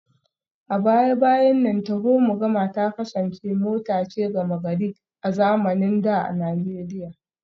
A baya-bayan nan taho-mu-gama ta kasance mota ce gama-gari a zamanin da a Najeriya